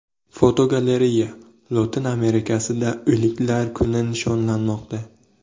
Fotogalereya: Lotin Amerikasida O‘liklar kuni nishonlanmoqda.